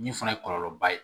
Min fana ye kɔlɔlɔba ye